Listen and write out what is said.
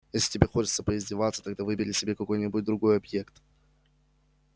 если тебе хочется поиздеваться тогда выбери себе какой-нибудь другой объект